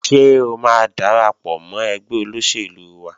Ṣé o máa darapọ̀ mọ́ ẹgbẹ́ olóṣèlú wa?